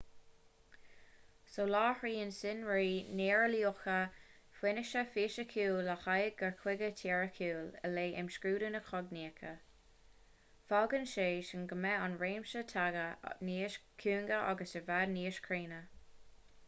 soláthraíonn sonraí néareolaíocha fianaise fhisiciúil le haghaidh cur chuige teoiriciúil i leith imscrúdú na cognaíochta fágann sé sin go mbeidh an réimse taighde níos cúinge agus i bhfad níos cruinne